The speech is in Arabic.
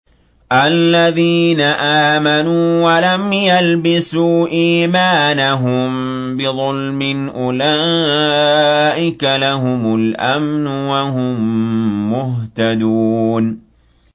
الَّذِينَ آمَنُوا وَلَمْ يَلْبِسُوا إِيمَانَهُم بِظُلْمٍ أُولَٰئِكَ لَهُمُ الْأَمْنُ وَهُم مُّهْتَدُونَ